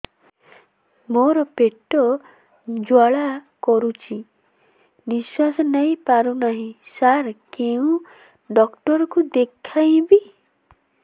ମୋର ପେଟ ଜ୍ୱାଳା କରୁଛି ନିଶ୍ୱାସ ନେଇ ପାରୁନାହିଁ ସାର କେଉଁ ଡକ୍ଟର କୁ ଦେଖାଇବି